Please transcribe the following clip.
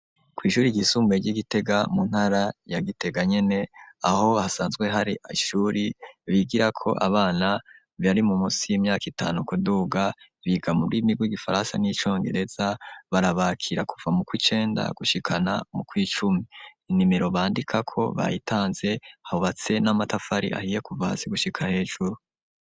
Kw'ishure ryisumbuye ry'igitega mu ntara ya gitega nyene aho hasanzwe hari ishure bigirako abana bari munsi y'imyaka itanu kuduga biga mumigwi igifaransa n'icongereza barabakira kuva mu kwicenda gushika no mu kw'icumi inimiro bandikako bayitanze hubatse n'amatafari ahiye kuva hasi gushika hejuru.